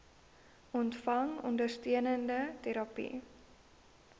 ontvang ondersteunende terapie